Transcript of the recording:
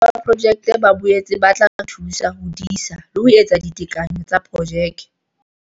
Bahokahanyi ba Projeke ba boetse ba tla re thusa ho disa le ho etsa ditekanyo tsa projeke.